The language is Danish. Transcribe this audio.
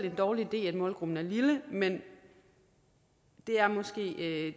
en dårlig idé at målgruppen er lille men det er måske